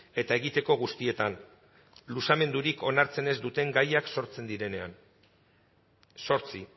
eta egiteko guztietan luzamendurik onartzen ez duten gaiak sortzen direnean zortzi